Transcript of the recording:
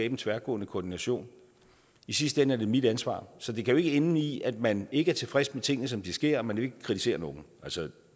en tværgående koordination i sidste ende er det mit ansvar så det kan jo ikke ende i at man ikke er tilfreds med tingene som de sker men vil kritisere nogen